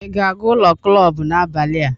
ị ga-aga ụlọ klọb n'abalị a?